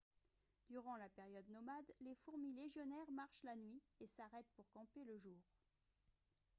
durant la période nomade les fourmis légionnaires marchent la nuit et s'arrêtent pour camper le jour